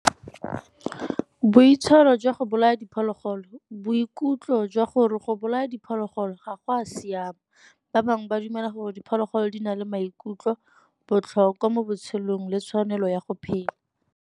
Boitshwaro jwa go bolaya diphologolo, boikutlo jwa gore go bolaya diphologolo ga go a siama. Ba bangwe ba dumela gore diphologolo di na le maikutlo botlhokwa mo botshelong le tshwanelo ya go phela.